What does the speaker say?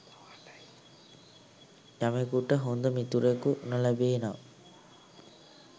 යමෙකුට හොඳ මිතුරෙකු නොලැබේ නම්